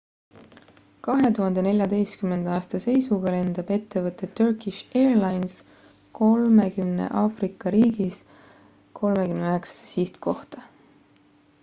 2014 aasta seisuga lendab ettevõte turkish airlines 30 aafrika riigis 39 sihtkohta